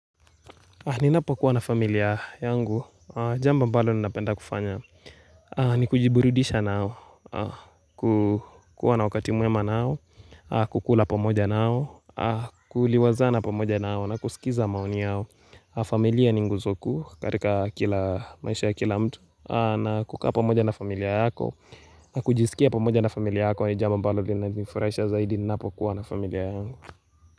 Ninapokuwa na familia yangu, jambo ambalo ninapenda kufanya, ni kujiburudisha nao, kukuwa na wakati mwema nao, kukula pamoja nao, kuliwazana pamoja nao, na kusikiza maoni yao, familia ni nguzo kuu, katika kila maisha ya kila mtu, na kukaa pamoja na familia yako, na kujisikia pamoja na familia yako, ni jambo ambalo linafurahisha zaidi, ninapo kuwa na familia yangu.